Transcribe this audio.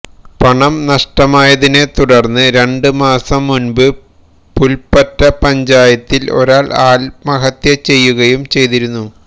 പണം നഷ്ടമായതിനെ തുടര്ന്നു രണ്ടു മാസം മുന്പു പുല്പ്പറ്റ പഞ്ചായത്തില് ഒരാള് ആത്മഹത്യ ചെയ്യുകയും ചെയ്തിരുന്നു